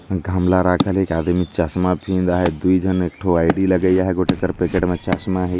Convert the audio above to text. ईहा गमला रखल हे एक आदमी चसमा फ़ाहिन्दा दुई झन एगो आई डी लगाइयया हे गोटी कर पैकेट मे चसमा हे।